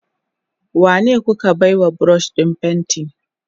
Wanene kuka baiwa brush din fenti?